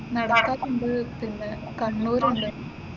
നടക്കാവ് ഉണ്ട് പിന്നെ കണ്ണൂർ ഉണ്ട്.